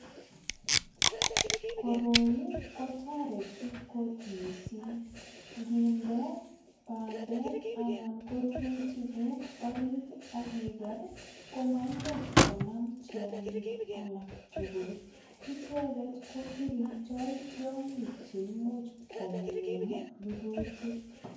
Koroi kotoretu kot mising nginde bandek ana korurutikuk orit ak iger komaimuch konam tiongik alak tugul icheget ko kiringndoi tiongik che imuch kongem rurutik.